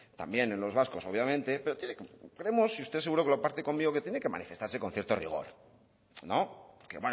también en los vascos obviamente pero creemos y usted seguro que comparte conmigo que tiene que manifestarse con cierto rigor que